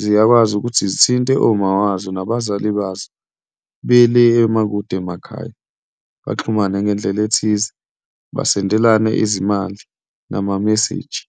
ziyakwazi ukuthi zithinte oma wazo nabazali bazo be le emakude emakhaya, baxhumane ngendlela ethize, basendelane izimali nama-message.